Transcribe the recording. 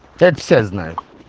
это все знают